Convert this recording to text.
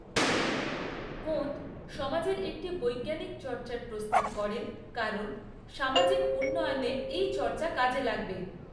Comte সমাজের একটি বৈজ্ঞানিক চর্চার প্রস্তাব করেন কারণ সামাজিক উন্নয়নে এই চৰ্চা কাজে লাগবে।